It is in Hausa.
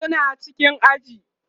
suna cikin aji